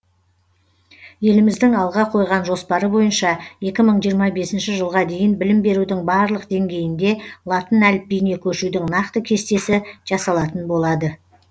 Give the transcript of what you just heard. еліміздің алға қойған жоспары бойынша екі мың жиырма бесінші жылға дейін білім берудің барлық деңгейінде латын әліпбиіне көшудің нақты кестесі жасалатын болады